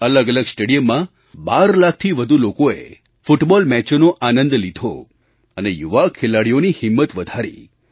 દેશના અલગઅલગ સ્ટેડિયમમાં 12 લાખથી વધુ લોકોએ ફૂટબૉલ મેચોનો આનંદ લીધો અને યુવા ખેલાડીઓની હિંમત વધારી